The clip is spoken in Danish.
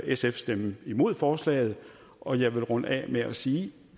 sf stemme imod forslaget og jeg vil runde af med at sige